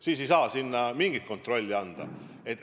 Siis ei saa sinna mingit kontrolli anda.